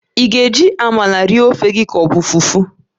Ị ga-eri ofe gị na amala ma ọ bụ fufu?